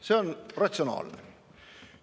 See on ratsionaalne.